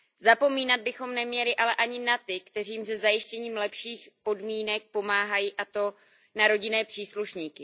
Zapomínat bychom neměli ale ani na ty, kteří jim se zajištěním lepších podmínek pomáhají, a to na rodinné příslušníky.